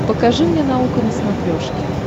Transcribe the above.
покажи мне наука на смотрешке